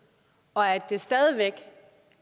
og